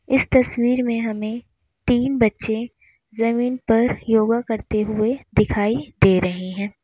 इस तस्वीर में हमें तीन बच्चे जमीन पर योगा करते हुए दिखाई दे रहे हैं।